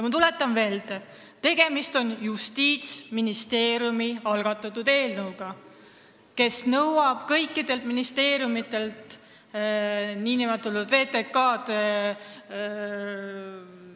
Ma tuletan meelde, et eelnõu on algatanud Justiitsministeerium, kes nõuab kõikidelt ministeeriumidelt nn VTK-d.